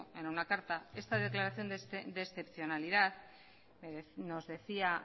en una carta esta declaración de excepcionalidad nos decía